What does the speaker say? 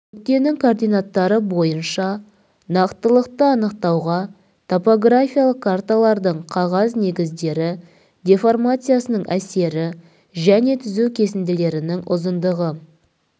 нүктенің координаттары бойынша нақтылықты анықтауға топографиялық карталардың қағаз негіздері деформациясының әсері және түзу кесінділерінің ұзындығы